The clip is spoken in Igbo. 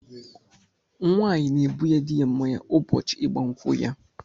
Nwaanyị na-ebunye di ya mmáñyá ụbọchị ịgba nkwụ ya.